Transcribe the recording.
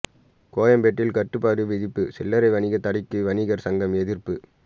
கோயம்பேட்டில் கட்டுப்பாடு விதிப்பு சில்லரை வணிக தடைக்கு வணிகர் சங்கம் எதிர்ப்பு